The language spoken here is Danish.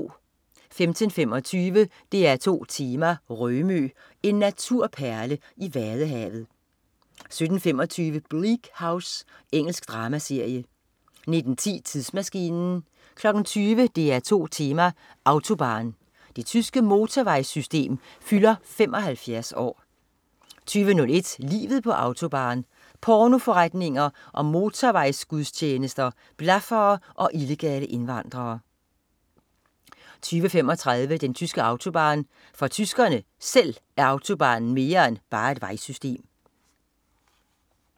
15.25 DR2 Tema: Rømø. En naturperle i Vadehavet 17.25 Bleak House. Engelsk dramaserie 19.10 Tidsmaskinen 20.00 DR2 Tema: Autobahn. Det tyske motorvejssystem fylder 75 år 20.01 Livet på Autobahn. Pornoforretninger og motorvejsgudstjenester, blaffere og illegale indvandrere 20.35 Den tyske autobahn. For tyskerne (selv) er autobahnen mere end bare et vejsystem